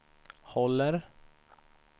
håller